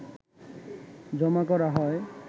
জমা করা হয়